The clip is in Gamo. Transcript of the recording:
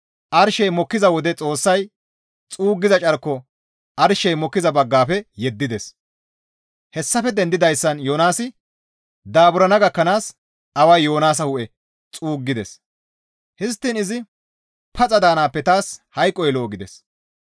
Arshey mokkiza wode Xoossay xuuggiza carko arshey mokkiza baggafe yeddides; hessafe dendidayssan Yoonaasi daaburana gakkanaas away Yoonaasa hu7e xuuggides; histtiin izi, «Paxa daanaappe taas hayqoy lo7o» gides.